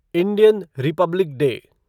Indian republic day